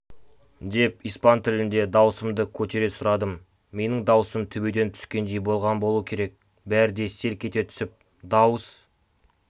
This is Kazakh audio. деп испан тілінде дауысымды көтере сұрадым менің даусым төбеден түскендей болған болуы керек бәрі де селк ете түсіп дауыс